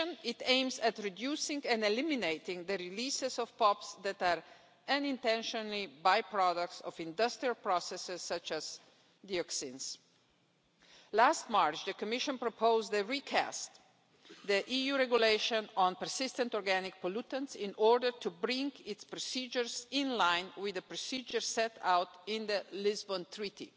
addition, it aims at reducing and eliminating the releases of POPs that are unintentional by-products of industrial processes such as dioxins. Last March, the Commission proposed the recast of the EU Regulation on Persistent Organic Pollutants in order to bring its procedures into line with the procedures set out in the Lisbon Treaty.